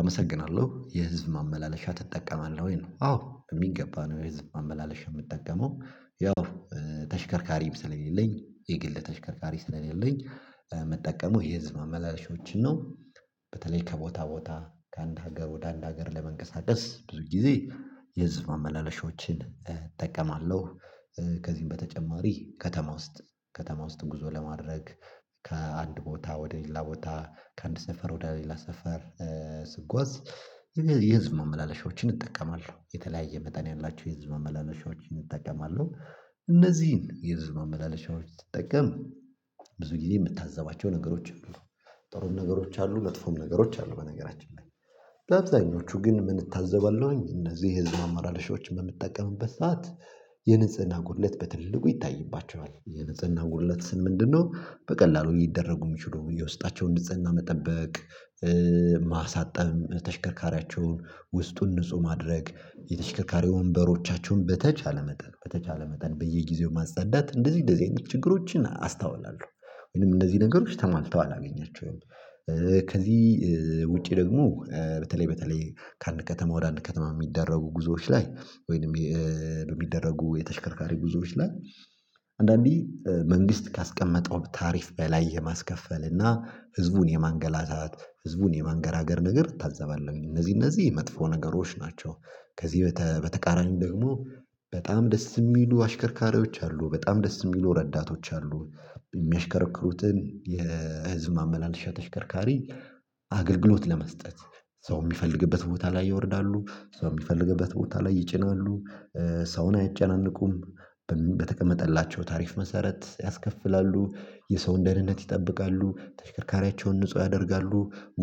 አመሰግናለሁ የህዝብ ማመላለሻ ትጠቀማለህ ወይ ነው? አዎ በሚገባ ነው የህዝብ ማመላለሻ የምጠቀመው። ያው ተሽከርካሪም ስለሌለኝ የግል ተሽከርካሪ ስለሌለኝ ምጠቀሙ የህዝብ ማመላለሻዎች ነው። በተለይ ከቦታ ቦታ ከአንድ ሀገር ወደ አንድ ሀገር ለመንቀሳቀስ ብዙ ጊዜ የህዝብ ማመላለሻዎችን እጠቀማለሁ። ከዚህም በተጨማሪ ከተማ ውስጥ ከተማ ውስጥ ጉዞ ለማድረግ ከአንድ ቦታ ወደ ሌላ ቦታ ከአንድ ሰፈር ወደ ሌላ ሰፈር ስጓዝ የህዝብ መመላለሻዎችን እጠቀማለሁ የተለያየ መጠን ያላችሁ የህዝብ መመላለሻዎችን እጠቀማለሁ። እነዚህን የህዝብ ማመላለሻዎች ስጠቀም ብዙ ጊዜ የምታዘባቸው ነገሮችን ጥሩ ነገሮች አሉ መጥፎም ነገሮች አሉ በነገራችን ላይ። በአብዛኞቹ ግን የምን እታዘባለው እነዚህ የህዝብ ማመላለሻዎች በምትጠቀምበት ሰዓት የንጽህና ጉድለት በትልልቁ ይታይባቸዋል። የንጽህና ጉድለት ስል ምንድነው በቀላሉ ሊደረጉ የሚችሉ የውስጣቸው ንጽህና መጠበቅ ማሳጠብ ተሽከርካሪያቸውን ውስጡን ንጹህ ማድረግ የተሽከርካሪ ወንበሮቻቸውን በተቻለ መጠን በተቻለ መጠን በየጊዜው ማጸዳት እንደዚህ እንደዚህ አይነት ችግሮችን አስታውላለሁ። እንደዚህ ነገሮች ተማልተው አላገኛቸውም። ከዚህ ውጪ ደግሞ በተለይ በተለይ ከአንድ ከተማ ወደ አንድ ከተማ የሚደረጉ ጉዞዎች ላይ ወይንም በሚደረጉ የተሽከርካሪ ጉዞዎች ላይ አንዳንዴ መንግስት ካስቀመጠው ታሪፍ በላይ የማስከፈል እና ህዝቡን የማንገላታት ህዝቡን የማንገራገር ነገር እታዘባለሁ። እነዚህ እነዚህ የመጥፎ ነገሮች ናቸው። ከዚህ በተቃራኒው ደግሞ በጣም ደስ የሚሉ አሽከርካሪዎች አሉ በጣም ደስ የሚሉ ረዳቶች አሉ። የሚያሽከረክሩትን የህዝብ ማመላለሻ ተሽከርካሪ አገልግሎት ለመስጠት ሰው የሚፈልግበት ቦታ ላይ ያወርዳሉ ሰው የሚፈልግበት ቦታ ላይ ይጭናሉ ሰውን አይጨናነቁም። በተቀመጠላቸው ታሪፍ መሰረት ያስከፍላሉ የሰው ደህነት ይጠብቃሉ ተሽከርካሪያቸውን ንጹህ ያደርጋሉ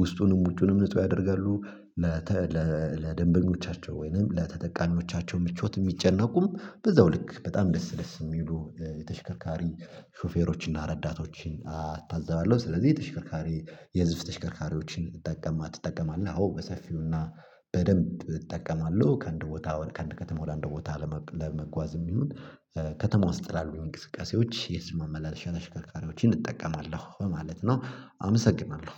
ውስጡንም ውጪውንም ንጹህ ያደርጋሉ። ለደንበኞቻቸው ወይንም ለተጠቃሚዎቻቸው ምቾት የሚጨነቁም በዛው ልክ በጣም ደስ ደስ የሚሉ የተሽከርካሪ ሾፌሮችና ረዳቶችን አታዛባለሁ። ስለዚህ የተሽከርካሪ የህዝብ ተሽከርካሪዎችን ትጠቀማለህአዎ በሰፊውና በደንብ እጠቀማለሁ። ከአንድ ቦታ ከእንደ ከተማ ወደ እንደ ቦታ ለመጓዝም ይሁን ከተማ ውስጥ ላሉ እንቅስቃሴዎች የህዝብ ማመላለሻ አሽከርካሪዎችን እጠቀማለሁ በማለት ነው። አመሰግናለሁ